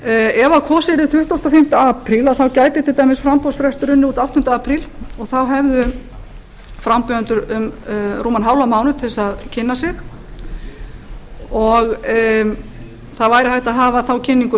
ef kosið yrði tuttugasta og fimmta apríl gæti til dæmis framboðsfrestur runnið út áttunda apríl og þá hefðu frambjóðendur rúman hálfan mánuð til að kynna sig og það væri hægt að hafa þá kynningu